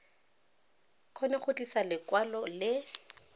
kgone go tlisa lekwalo le